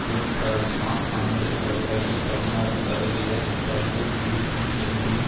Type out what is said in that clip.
டூன் டிராய்ஸ்மா ஆண்டு வருவாயில் பதினாறு சதவீத சரிவு இருக்கும் என்றும்